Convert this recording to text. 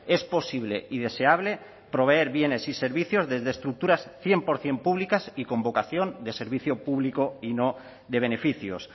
es posible y deseable proveer bienes y servicios desde estructuras cien por ciento públicas y con vocación de servicio público y no de beneficios